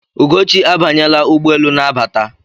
Ugochi abanyela ụgbọelu na-abata.